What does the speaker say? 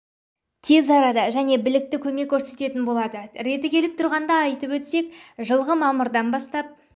тез арада және білікті көмек көрсететін болады реті келіп тұрғанда айтып өтсек жылғы мамырдан бастап